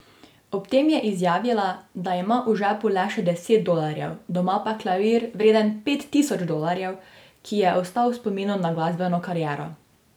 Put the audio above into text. Ob tem je izjavila, da ima v žepu le še deset dolarjev, doma pa klavir vreden pet tisoč dolarjev, ki ji je ostal v spomin na glasbeno kariero.